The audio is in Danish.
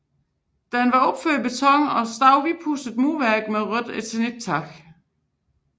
Den var opført i beton og stod i hvidtpudset murværk med rødt eternittag